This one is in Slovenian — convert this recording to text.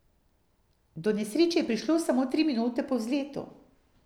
Do nesreče je prišlo samo tri minute po vzletu.